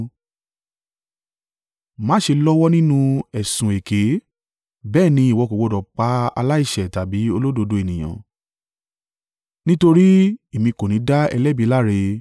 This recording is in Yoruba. Má ṣe lọ́wọ́ nínú ẹ̀sùn èké, bẹ́ẹ̀ ni ìwọ kò gbọdọ̀ pa aláìṣẹ̀ tàbí olódodo ènìyàn, nítorí Èmi kò ní dá ẹlẹ́bi láre.